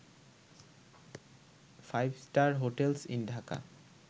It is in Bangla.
5 star hotels in Dhaka